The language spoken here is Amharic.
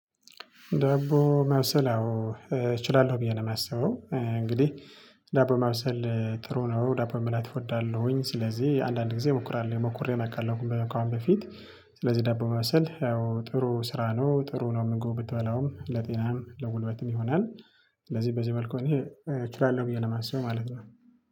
ዳቦ ማብሰል አዎ እችላለሁ ብዬ ነው የማስበው እንግዲህ ዳቦ ማብሰል ጥሩ ነው ዳቦ መብላት እወዳለሁኝ ስለዚህ አንዳንድ ጊዜ ሞክራል ሞክሬ አውቃለሁ ካሁን በፊት። ስለዚህ ዳቦ ማብሰል ያው ጥሩ ስራ ነው ጥሩ ነው ምግቡ ብትበላውም ለጤናም ለጉልበትም ይሆናል። ስለዚህ በዚህ መልኩ እኔ እችላለሁ ብዬ ነው የማስበው ማለት ነው።